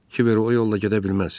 Kiver o yolla gedə bilməz.